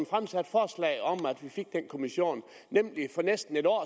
fremsat forslag om at vi fik den kommission nemlig for næsten et år